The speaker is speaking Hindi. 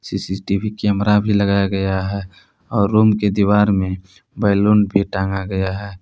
सी_सी_टी_वी कैमरा भी लगाया गया है और रूम के दीवार में बैलून भी टांगा गया है।